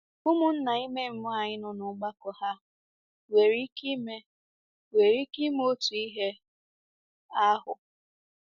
Ụmụnna ime mmụọ anyị nọ n'ọgbakọ hà nwere ike ime ike ime otu ihe ahụ?